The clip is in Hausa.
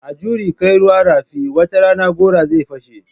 A juri kai ruwa rafi, wata rana gora zai fashe.